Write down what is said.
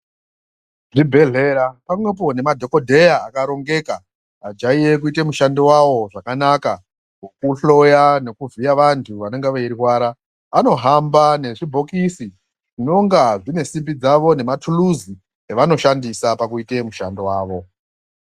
Zvibhedhlera pamwepo nemadhokodheya akarongeka ajaiye kuite mushando wawo zvakanaka mukuhloya nokuvhiya vantu vanenge veirwara anohamba nezvibhokisi zvinonga zvine simbi dzawo nematutuzi evanoshandisa pakuite mushando dzawo.